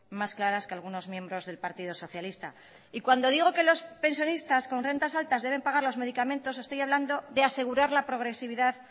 más claras que algunos miembros del partido socialista y cuando digo que los pensionistas con rentas altas deben pagar los medicamentos estoy hablando de asegurar la progresividad